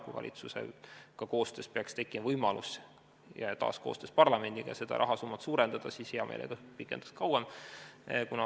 Kui valitsusega koostöös ja taas koostöös parlamendiga peaks tekkima võimalus seda rahasummat suurendada, siis hea meelega pikendaks kauem.